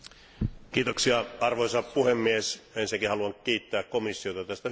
Arvoisa puhemies, ensinnäkin haluan kiittää komissiota tästä hyvästä aloitteesta.